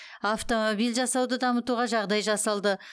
автомобиль жасауды дамытуға жағдай жасалды